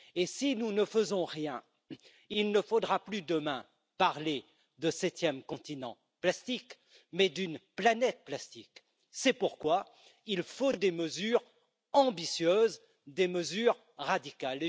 Si nous ne faisons rien, il ne faudra plus demain parler de septième continent plastique, mais d'une planète plastique. C'est pourquoi il faut des mesures ambitieuses, des mesures radicales.